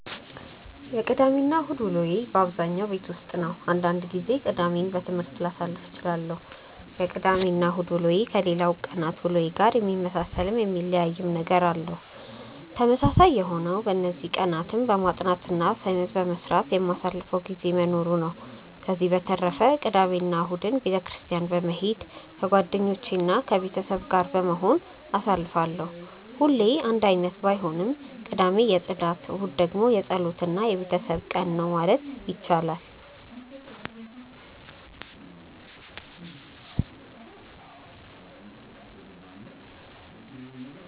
የቅዳሜ እና እሁድ ውሎዬ በአብዛኛው ቤት ውስጥ ነው። አንዳንድ ጊዜ ቅዳሜን በትምህርት ላሳልፍ እችላለሁ። የቅዳሜ እና እሁድ ውሎዬ ከሌላው ቀናት ውሎዬ ጋር የሚመሳሰልም የሚለያይም ነገር አለው። ተመሳሳይ የሆነው በእነዚህ ቀናትም በማጥናት እና አሳይመንት በመስራት የማሳልፈው ጊዜ መኖሩ ነው። ከዚህ በተረፈ ቅዳሜ እና እሁድን ቤተ ክርስትያን በመሄድ ከጓደኞቼ እና ከቤተሰብ ጋር በመሆን አሳልፋለሁ። ሁሌ አንድ አይነት ባይሆንም ቅዳሜ የፅዳት ቀን እሁድ ደግሞ የፀሎት እና የቤተሰብ ቀን ነው ማለት ይቻላል።